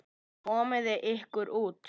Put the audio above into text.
Komiði ykkur út!